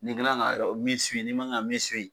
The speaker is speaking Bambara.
Ni kilan ga e ɔ min siwi n'i man kan ka min siwi